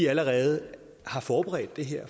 allerede har forberedt det her